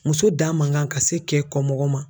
Muso da man kan ka se cɛ kɔmgɔ ma.